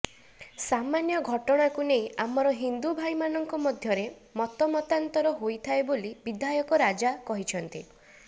ସାମାନ୍ୟ ଘଟଣାକୁ ନେଇ ଆମର ହିନ୍ଦୁ ଭାଇମାନଙ୍କ ମଧ୍ୟରେ ମତମତାନ୍ତର ହୋଇଥାଏ ବୋଲି ବିଧାୟକ ରାଜା କହିଛନ୍ତି